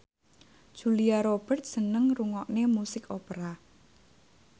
Julia Robert seneng ngrungokne musik opera